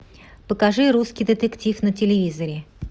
покажи русский детектив на телевизоре